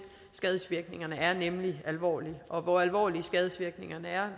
skadevirkningerne er nemlig alvorlige og hvor alvorlige skadedvirkningerne er